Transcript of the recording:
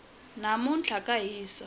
namuntlha ka hisa